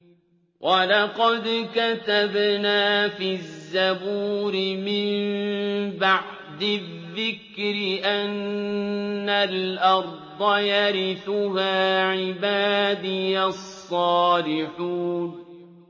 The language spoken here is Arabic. وَلَقَدْ كَتَبْنَا فِي الزَّبُورِ مِن بَعْدِ الذِّكْرِ أَنَّ الْأَرْضَ يَرِثُهَا عِبَادِيَ الصَّالِحُونَ